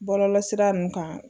Bɔlɔlɔsira ninnu kan